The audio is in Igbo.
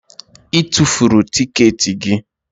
Ị tufuru tikeeti gị?